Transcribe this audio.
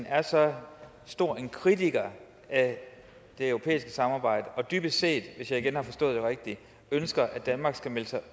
er så stor en kritiker af det europæiske samarbejde og dybest set hvis jeg igen har forstået det rigtigt at danmark skal melde sig